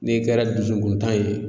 N'i kɛra dusukun tan ye